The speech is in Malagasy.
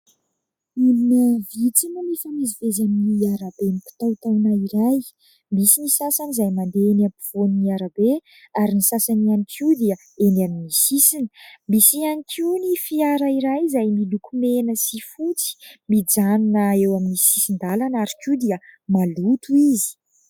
Olona vitsy no mifamezivezy amin'ny arabe mikitaontaona iray. Misy ny sasany izay mandeha eny ampovoan'ny arabe ary ny sasany ihany koa dia eny amin'ny sisiny. Misy ihany koa ny fiara iray izay miloko mena sy fotsy mijanona eo amin'ny sisin-dalana ary ihany koa dia maloto izy.